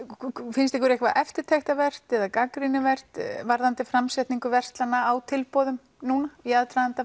finnst ykkur eitthvað eftirtektarvert eða gagnrýnivert varðandi framsetningu verslana á tilboðum núna í aðdraganda